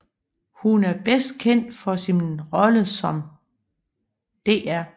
Hun er bedst kendt for sin rolle som Dr